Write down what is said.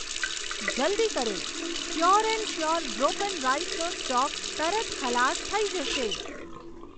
જલદી કરો, pure and sure broken રાઈસનો સ્ટોક તરત ખલાસ થઈ જશે.